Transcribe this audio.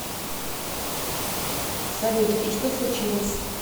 салют и что случилось